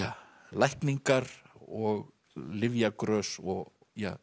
lækningar og lyfjagrös og